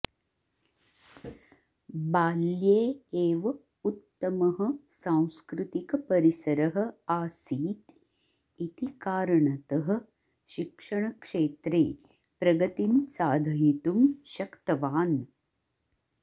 बाल्ये एव उत्तमः सांस्कृतिकपरिसरः आसीत् इति कारणतः शिक्षणक्षेत्रे प्रगतिं साधयितुं शक्तवान्